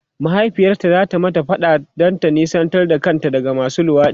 mahaifiyarta zata mata faɗa ta nesanta kanta daga masu luwaɗi